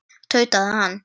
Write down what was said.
tautaði hann.